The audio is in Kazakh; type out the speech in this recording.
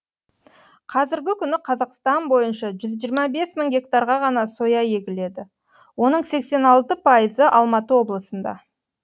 қазіргі күні қазақстан бойынша жүз жиырма бес мың гектарға ғана соя егіледі оның сексен алты пайызы алматы облысында